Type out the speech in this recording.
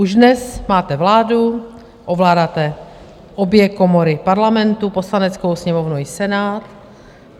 Už dnes máte vládu, ovládáte obě komory Parlamentu - Poslaneckou sněmovnu i Senát.